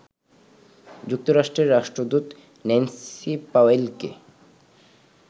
যুক্তরাষ্ট্রের রাষ্ট্রদূত ন্যান্সি পাওয়েলকে